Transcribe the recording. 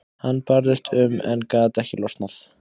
Hann barðist um en gat ekki losnað.